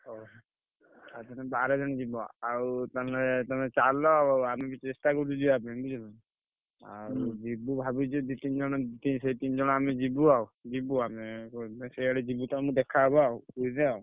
ହଉ ଆଉ ତମେ ବାର ଜଣ ଯିବ। ଆଉ ତାହେଲେ ତମେ ଚାଲ ଆମେ ବି ଚେଷ୍ଟା କରୁଚୁ ଯିବା ପାଇଁ ବୁଝିଲନା। ଆଉ ଯିବୁ ଭାବିଛୁ ଦି ତିନି ଜଣ ସେଇ ତିନି ଜଣ ଆମେ ଯିବୁ ଆଉ ଯିବୁ ଆମେ ସିଆଡେ ଯିବୁ ତମେ ଦେଖା ହବ ଆଉ ପୁରୀରେ।